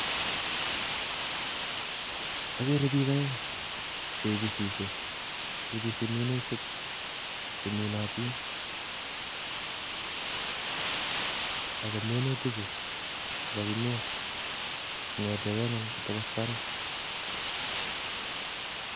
ageere biik oeng cheibisisyee, ibisi miutik che minotin ak minutichu kokakimiin kongeten kee ngwony kotokos barak,